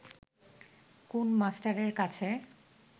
কুন মাস্টারের কাছে